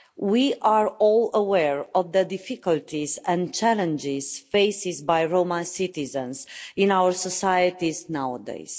We are all aware of the difficulties and challenges faced by Roma citizens in our societies nowadays.